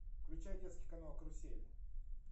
включай детский канал карусель